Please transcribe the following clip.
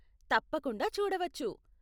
తప్పకుండా చూడవచ్చు.